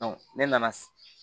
ne nana